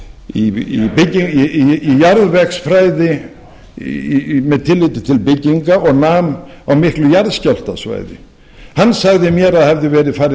í jarðvegsfræði með tilliti til bygginga og nam á miklu jarðskjálftasvæði hann sagði mér að það hefði verið farið